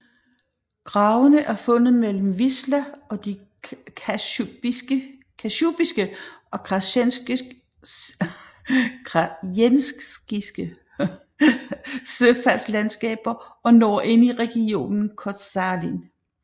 Gravene er fundet mellem Wisła og de Kasjubiske og Krajenskiske sølandskaber og når ind i regionen Koszalin